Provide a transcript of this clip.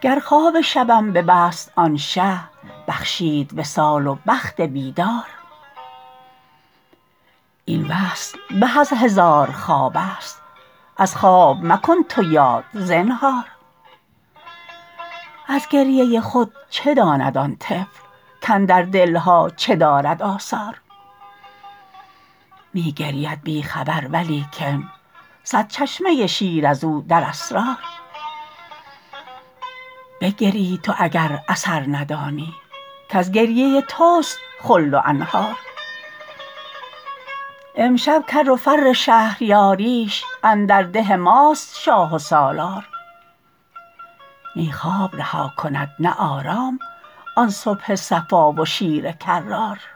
گر خواب شبم ببست آن شه بخشید وصال و بخت بیدار این وصل به از هزار خوابست از خواب مکن تو یاد زنهار از گریه خود چه داند آن طفل کاندر دل ها چه دارد آثار می گرید بی خبر ولیکن صد چشمه شیر از او در اسرار بگری تو اگر اثر ندانی کز گریه تست خلد و انهار امشب کر و فر شهریاریش اندر ده ماست شاه و سالار نی خواب رها کند نه آرام آن صبح صفا و شیر کرار